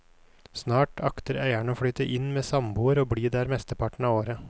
Snart akter eieren å flytte inn med samboer og bli der mesteparten av året.